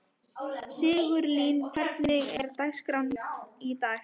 Sigurlín, hvernig er dagskráin í dag?